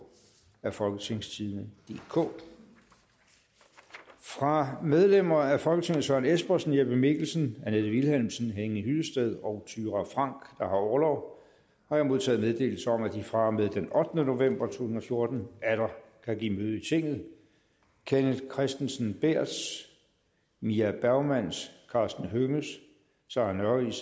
af folketingstidende DK fra medlemmer af folketinget søren espersen jeppe mikkelsen annette vilhelmsen henning hyllested og thyra frank der har orlov har jeg modtaget meddelelse om at de fra og med den ottende november to tusind og fjorten atter kan give møde i tinget kenneth kristensen berths mie bergmanns karsten hønges sarah nørris